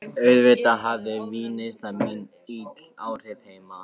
Auðvitað hafði vínneysla mín ill áhrif heima.